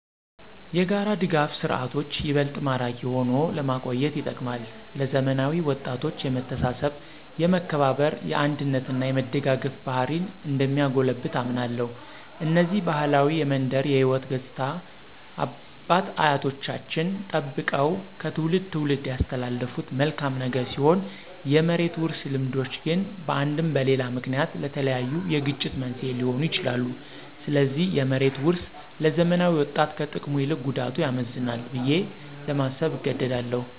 የጋራ ድጋፍ ስርዓቶች ይበልጥ ማራኪ ሆኖ ለመቆየት ይጠቅማል። ለዘመናዊ ወጣቶች የመተሳሰብ፣ የመከባበር፣ የአንድነት እና የመደጋገፍ ባህሪን እንደሚያጎለብት አምናለሁ። እነዚህ ባህላዊ የመንደር የሕይወት ገፅታዎች አባት አያቶቻችን ጠበቀው ከትውልድ ትውልድ ያስተላለፉት መልካም ነገር ሲሆን የመሬት ውርስ ልምዶች ግን በአንድም በሌላ ምክንያት ለተለያዩ የግጭት መንስኤ ሊሆኑ ይችላሉ። ስለዚህ የመሬት ውርስ ለዘመናዊ ወጣት ከጥቅሙ ይልቅ ጉዳቱ ያመዝናል ብዬ ለማሰብ እገደዳለሁ።